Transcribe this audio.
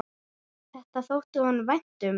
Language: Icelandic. Þetta þótti honum vænt um.